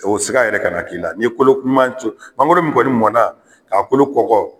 O sika yɛrɛ ka na k'i la . N'i ye kolo ɲuman ,mankoro mun kɔni mɔnna ka kolo kɔkɔ